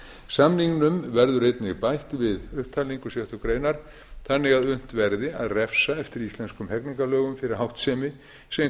samningnum verður einnig bætt við upptalningu sjöttu grein þannig að unnt verði að refsa eftir íslenskum hegningarlögum fyrir háttsemi sem